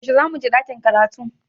Yaushe zamu je ɗakin karatu?